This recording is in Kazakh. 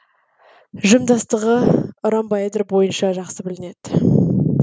жымдастығы ромбоэдр бойынша жақсы білінеді